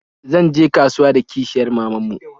Zan je kasuwa da kishiyar maman mu